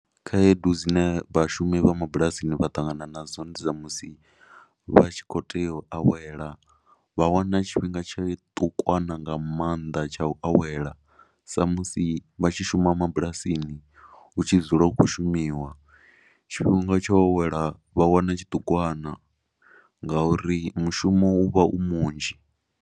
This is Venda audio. Khaedu dzine vhashumi vha mabulasini vha ṱangana nadzo ndi dza musi vha tshi khou tea u awela vha wana tshifhinga tsha tshiṱukwana nga maanḓa tsha u awela sa musi vha tshi shuma mabulasini. U tshi dzula u khou shumiwa, tshifhinga tsho awela vha wana tshiṱukwana ngauri mushumo u vha u munzhi.